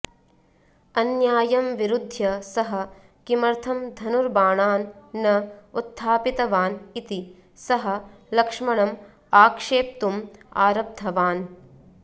अन्यायं विरुध्य सः किमर्थं धनुर्बाणान् न उत्थापितवान् इति सः लक्ष्मणम् आक्षेप्तुम् आरब्धवान्